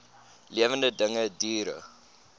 lewende dinge diere